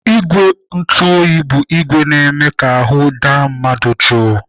Igwe ntụoyi bụ ìgwè na-eme ka ahụ daa mmadụ jụụ.